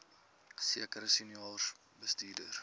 sekere senior bestuurders